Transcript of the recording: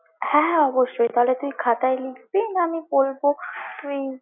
হ্যাঁ অবশ্যই, তাহলে তুই খাতায় লিখবি না আমি বলবো তুই।